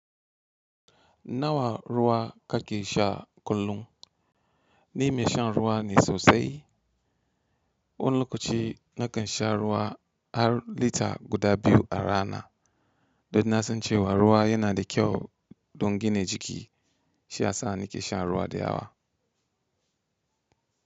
Nawa ruwa kake sha kullum? Ni mai shan ruwa ne sosai. Wani lokaci na kan sha ruwa har lita guda biyu a rana. Don na san cewa ruwa yana da kyau don gina jiki, shi ya sa ni ke shan ruwa da yawa.